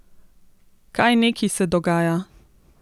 Kaj neki se dogaja?